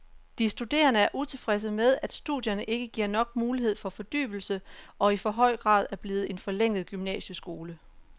De studerende er utilfredse med, at studierne ikke giver nok mulighed for fordybelse og i for høj grad er blevet en forlænget gymnasieskole.